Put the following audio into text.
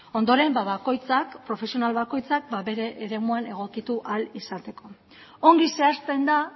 ondoren bakoitzak profesional bakoitzak bere eremuan egokitu ahal izateko ongi zehazten da